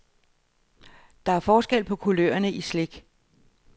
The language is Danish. Der er forskel på kulørerne i slik.